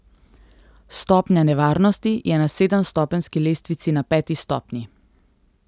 Stopnja nevarnosti je na sedemstopenjski lestvici na peti stopnji.